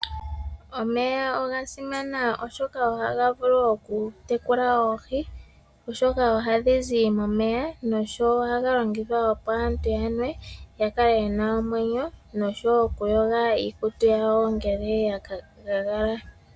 Omeya oga simana oshoka ohaga vulu okutekula oohi oshoka ohadhi zi momeya. Ohaga longithwa ishewe kaantu okunwa opo ya vule okukala nomweyo. Ohaga longithwa wo okuyoga iikutu yawo ngele ya gagala.